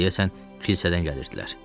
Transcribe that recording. Deyəsən, kilsədən gəlirdilər.